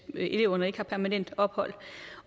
eleverne ikke har permanent ophold